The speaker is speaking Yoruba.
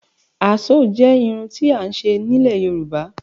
Àásó jẹ́ irun tí à ń ṣe nílẹ̀ Yorùbá.